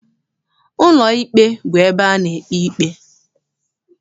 Ụlọikpe bụ ebe a na-ekpe ikpe.